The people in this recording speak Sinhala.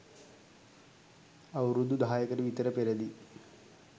අවුරුදු දහයකට විතර පෙරදී